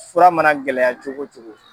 Fura mana gɛlɛya cogo wo cogo.